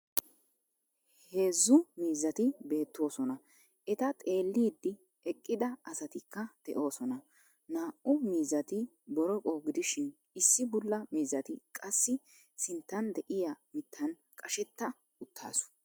Heezzu miizzati beettoosona. Eta xeelliddi eqqda asatikka de'oosona. Naa"u miizzati boroqo gidishin issi bulla miizzita qassi sinttan de'iya mittan qashetta uttaasu.